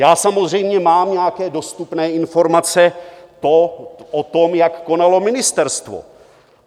Já samozřejmě mám nějaké dostupné informace o tom, jak konalo ministerstvo.